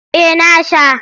Eh na sha.